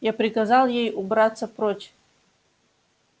я приказал ей убраться прочь